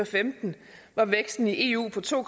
femten var væksten i eu på to